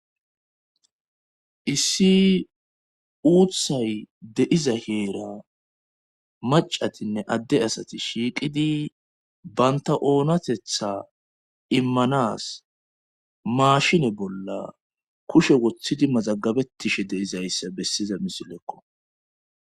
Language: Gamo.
issi uuthay deiza heera macatinne adde asati shiiqidi banta oonatetha immanas maashine bolla kushe woththidi mazagabetishe deizayssa bessiza misilekko